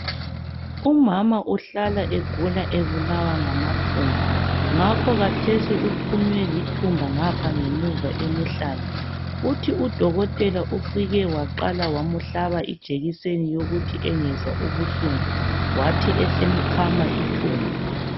Umama uhlala egula ebulawa ngamathumba ngakho kathesi uphunye lithumba ngapha ngemuva emhlane. Uthi udokotela ufike waqala wamuhlaba ijekiseni yokuthi engezwa ubuhlungu wathi esemkhama ithumba.